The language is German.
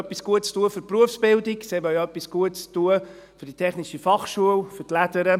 Sie wollen etwas Gutes tun für die Berufsbildung, sie wollten etwas Gutes tun für die TF Bern, für die «Lädere».